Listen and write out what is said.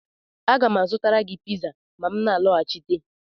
Aga m azụtara gị piza ma m na-alọghachite